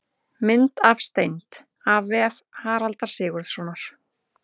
Mynd af steind: af vef Haraldar Sigurðssonar.